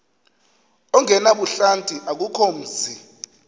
ongenabuhlanti akukho mzi